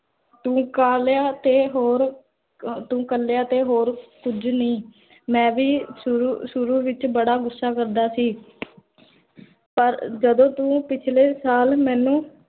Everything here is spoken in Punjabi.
ਤੂ ਕੱਲਿਆ ਤੇ ਹੋਰ ਤੂੰ ਕਾਲੀਆਂ ਕੁਝ ਨਹੀ, ਮੈਂ ਵੀ ਸ਼ੁਰੂ ਸ਼ੁਰੂ ਵਿਚ, ਬੜਾ ਗੁੱਸਾ ਕਰਦਾ ਸੀ ਪਰ ਜਦੋਂ ਤੂ ਪਿਛਲੇ ਸਾਲ ਮੇਨੂ